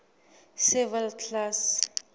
civil class